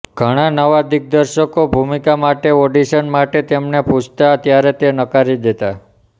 ઘણા નવા દિગ્દર્શકો ભૂમિકા માટે ઓડિશન માટે તેમને પૂછતા ત્યારે તે નકારી દેતા